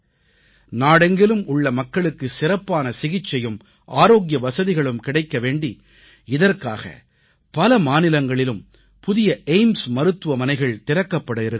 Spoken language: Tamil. நாடெங்கிலும் உள்ள மக்களுக்கு சிறப்பான சிகிச்சையும் ஆரோக்கிய வசதிகளும் கிடைக்க வேண்டி இதற்காக பல மாநிலங்களிலும் புதிய எய்ம்ஸ் ஏயிம்ஸ் மருத்துவமனைகள் திறக்கப்பட இருக்கின்றன